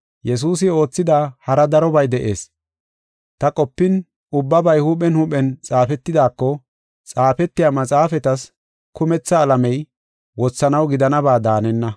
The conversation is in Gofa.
Yesuusi oothida hara darobay de7ees. Ta qopin, ubbabay huuphen huuphen xaafetidaako, xaafetiya maxaafatas kumetha alamey wothanaw gidanaba daanenna.